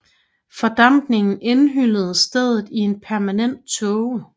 Fordampningen indhyllede stedet i en permanent tåge